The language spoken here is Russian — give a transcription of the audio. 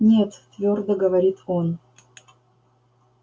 нет твёрдо говорит он